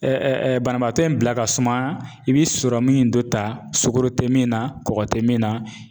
Ɛ ɛ ɛ banabaatɔ in bila ka suma i be sɔrɔmin in dɔ ta sugoro te min na kɔgɔ te min na